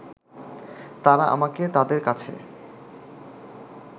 তারা আমাকে তাদের কাছে